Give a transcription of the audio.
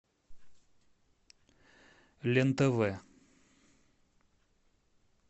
лен тв